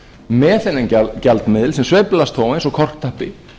með þennan gjaldmiðil sem sveiflast þó eins og korktappi